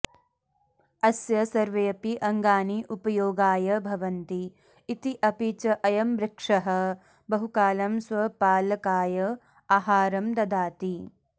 अस्य सर्वेऽपि अङ्गानि उपयोगाय भवन्ति इति अपि च अयं वृक्षः बहुकालं स्वपालकाय आहारं ददाति